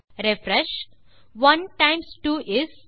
refresh 1 times 2 is